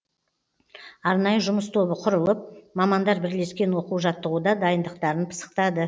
арнайы жұмыс тобы құрылып мамандар бірлескен оқу жаттығуда дайындықтарын пысықтады